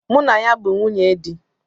Mụ na ya bu nwunye di